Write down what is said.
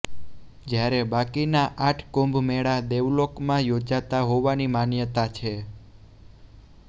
જ્યારે બાકીના આઠ કુંભ મેળા દેવલોકમાં યોજાતા હોવાની માન્યતા છે